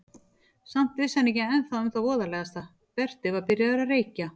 Samt vissi hann ekki ennþá um það voðalegasta: Berti var byrjaður að reykja.